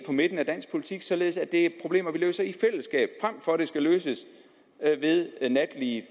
midten af dansk politik således at det er problemer vi løser i fællesskab frem for at de skal løses ved natlige